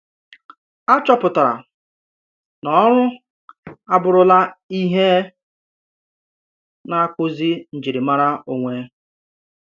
Àchọ̀pụ̀tàrà na òrụ̀ abùrùlà ihe nà-àkpụ̀zì njirimàrà onwe.